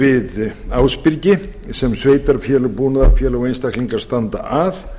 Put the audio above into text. við ásbyrgi sem sveitarfélög búnaðarfélög og einstaklingar standa að